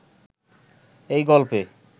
এই গল্পে